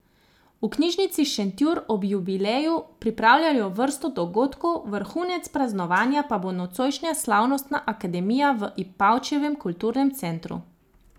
V Knjižnici Šentjur ob jubileju pripravljajo vrsto dogodkov, vrhunec praznovanja pa bo nocojšnja slavnostna akademija v Ipavčevem kulturnem centru.